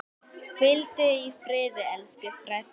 Hvíldu í friði, elsku Freddi.